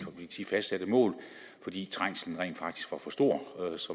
fastsatte mål fordi trængslen rent faktisk var for stor